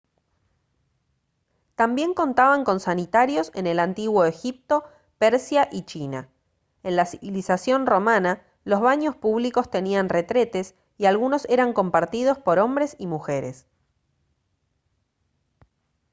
también contaban con sanitarios en el antiguo egipto persia y china en la civilización romana los baños públicos tenían retretes y algunos eran compartidos por hombres y mujeres